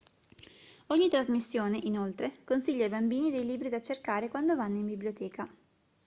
ogni trasmissione inoltre consiglia ai bambini dei libri da cercare quando vanno in biblioteca